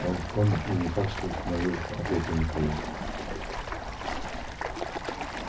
он в коме и не факт что восстановится ответил михаил